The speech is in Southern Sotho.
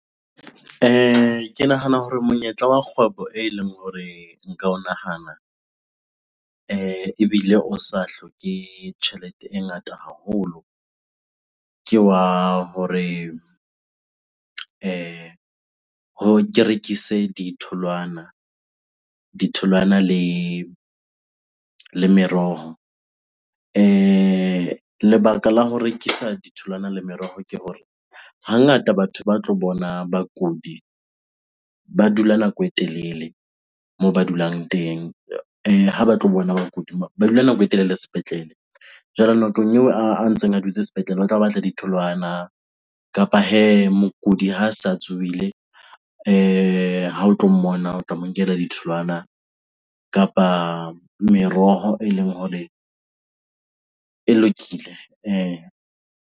Ke nahana hore monyetla wa kgwebo eleng hore nka o nahana ebile o sa hloke tjhelete e ngata haholo, ke wa hore ke rekise ditholwana le meroho. Lebaka la ho rekisa ditholwana le meroho ke hore hangata batho ba tlo bona bakudi ba dula nako e telele moo ba dulang teng ha ba tlo bona ba dula nako e telele sepetlele. Jwale nakong eo a ntseng a dutse sepetlele o tlabe a batla ditholwana kapa hee mokudi ha sa tsohile ha o tlo mmona o tla mo nkela ditholwana kapa meroho eleng hore e lokile .